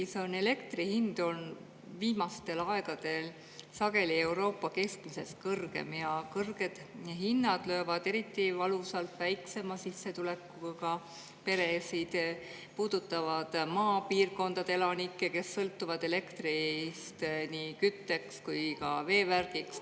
Eestis on elektri hind olnud viimastel aegadel sageli Euroopa keskmisest kõrgem ja kõrged hinnad löövad eriti valusalt väiksema sissetulekuga peresid, puudutavad maapiirkondade elanikke, kes sõltuvad elektrist nii kütteks kui ka veevärgiks.